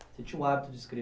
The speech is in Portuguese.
Você tinha o hábito de